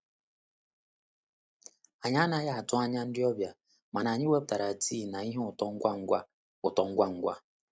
Anyị anaghị atụ anya ndị ọbịa, mana anyị wepụtara tii na ihe ụtọ ngwa ngwa. ụtọ ngwa ngwa.